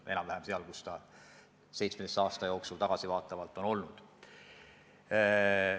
Enam-vähem niisugused need näitajad on 17 viimase aasta jooksul olnud.